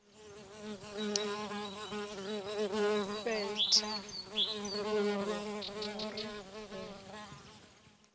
fhe thandululo hu ri u